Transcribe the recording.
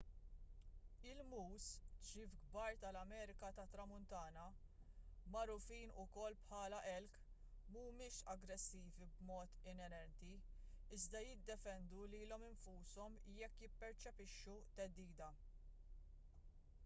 il-”moose” ċriev kbar tal-amerika tat-tramuntana magħrufin ukoll bħala elk mhumiex aggressivi b’mod inerenti iżda jiddefendu lilhom infushom jekk jipperċepixxu theddida